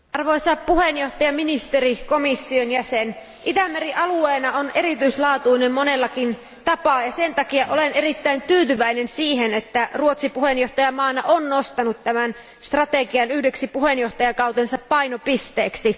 Arvoisa puhemies, arvoisa ministeri, arvoisa komission jäsen, Itämeri alueena on erityislaatuinen monellakin tapaa, ja sen takia olen erittäin tyytyväinen, että Ruotsi puheenjohtajavaltiona on nostanut tämän strategian yhdeksi puheenjohtajakautensa painopisteeksi.